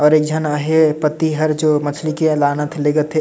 और एकझन आहे पति हर जो मछली के लानत लेगत है।